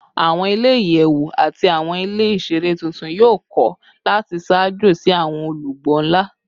Awọn ile-iyẹwu ati awọn ile iṣere tuntun yoo kọ lati ṣaajo si awọn olugbo nla